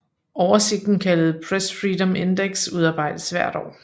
Oversigten kaldet Press Freedom Index udarbejdes hvert år